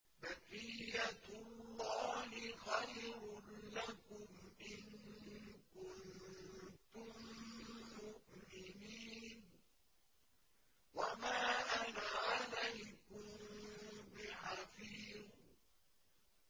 بَقِيَّتُ اللَّهِ خَيْرٌ لَّكُمْ إِن كُنتُم مُّؤْمِنِينَ ۚ وَمَا أَنَا عَلَيْكُم بِحَفِيظٍ